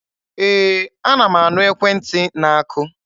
Ee, ana m anụ ekwentị na-akụ.